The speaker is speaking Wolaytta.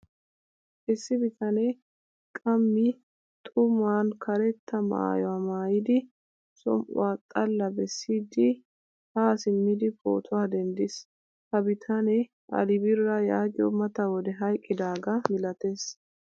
Issi bitane qammi xuman karetta maayuwaa maayidi som'uwaa xalla bessidi ha simmidi pootuwaa denddiis. Ha bitane ali bira yaagiyo mata wode hayqqidaga milatees.